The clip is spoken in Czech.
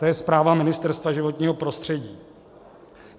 To je zpráva Ministerstva životního prostředí.